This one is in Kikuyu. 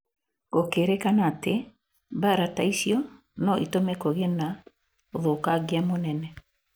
Gũkĩrĩkana atĩ mbaara ta icio no ĩtũme kũgĩe na ũthũkangia mũnene